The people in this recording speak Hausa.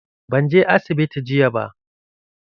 Ban je asibiti jiya ba.